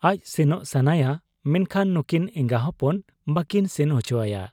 ᱟᱡ ᱥᱮᱱᱚᱜ ᱥᱟᱱᱟᱭᱟ ᱢᱮᱱᱠᱷᱟᱱ ᱱᱩᱠᱤᱱ ᱮᱸᱜᱟ ᱦᱚᱯᱚᱱ ᱵᱟᱠᱤᱱ ᱥᱮᱱ ᱚᱪᱚᱣᱟᱭᱟ ᱾